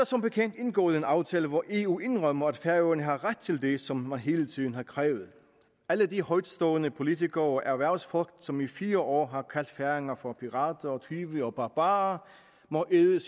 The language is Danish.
som bekendt indgået en aftale og eu indrømmer at færøerne har ret til det som man hele tiden har krævet alle de højtstående politikere og erhvervsfolk som i fire år har kaldt færinger for pirater tyve og barbarer må æde